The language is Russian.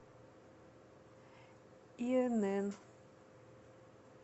инн